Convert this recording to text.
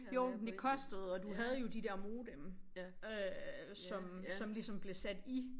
Jo det kostede og du havde jo de dér modem øh som som ligeosm blev sat i